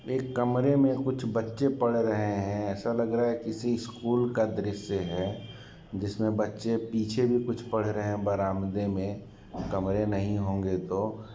एक कमरे मे कुछ बच्चे पढ़ रहे है ऐसा लग रहा है किसी स्कूल का दृश्य है जिसमे बच्चे पीछे भी कुछ पढ़ रहे हैं | बरामदे मे कमरे नहीं होंगे तो।